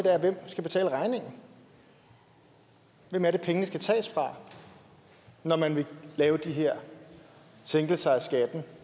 er hvem skal betale regningen hvem er det pengene skal tages fra når man vil lave de her sænkelser af skatten